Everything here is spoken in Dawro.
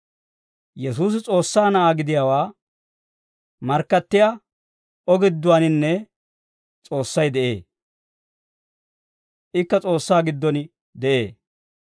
Yesuusi S'oossaa Na'aa gidiyaawaa markkattiyaa O gidduwaaninne S'oossay de'ee; ikka S'oossaa giddon de'ee.